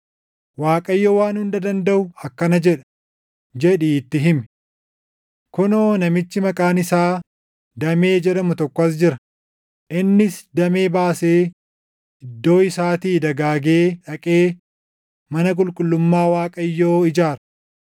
Waaqayyo Waan Hunda Dandaʼu akkana jedha, jedhii itti himi: ‘Kunoo namichi maqaan isaa Damee jedhamu tokko as jira; innis damee baasee iddoo isaatii dagaagee dhaqee mana qulqullummaa Waaqayyoo ijaara.